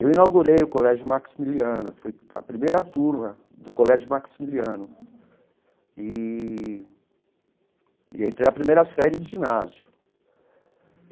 Eu inaugurei o Colégio Maximiliano, fui a primeira turma do Colégio Maximiliano, eee e entrei a primeira série do ginásio.